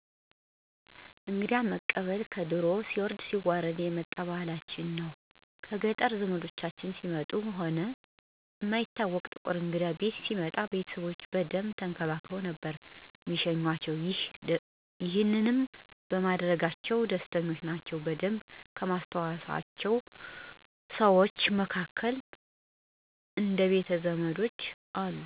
እንግዳ መቀበል ከድሮም ሲወርድ ሲዋረድ የመጣ ባህላችን ነው። ከገጠር ዘምዶቻችን ሲመጡ ሆነ እማይታወቅ ጥቁር እንግዳ ቤት ሲመጣ ቤተሰቦቼ በደንብ ተንከባክበው ነበር እሚሸኙአቸው። ይሄንንም በማድረጋቸው ደስተኞች ናቸው። በደንብ ከማስታውሰው ዉስጥ የሆነ ጊዜ ገጠር ዘመድ ለመጠየቅ በሄድን ጊዜ ያደረጉልንን መስተንግዶ አረሳውም። እሚሳሱለትን በግ ነበር አርደው የተቀበሉን እና ይሄንን እንዳረሳው አድርጎኛል።